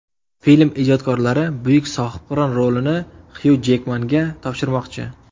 Film ijodkorlari buyuk Sohibqiron rolini Xyu Jekmanga topshirmoqchi.